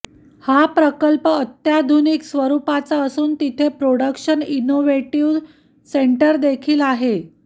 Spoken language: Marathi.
हा प्रकल्प अत्याधुनिक स्वरूपाचा असून इथे प्रोडक्शन इनोवेटीव सेंटरदेखील आहे